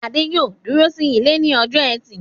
Adé yóò dúró sí ilé ní ọjọ́ ẹtì yìí.